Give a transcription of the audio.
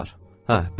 Hə, bəsdir.